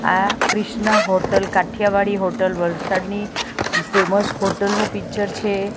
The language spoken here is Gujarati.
આ ક્રિષ્ના હોટલ કાઠીયાવાડી હોટલ વલસાડની ફેમસ હોટલ નુ પિક્ચર છે.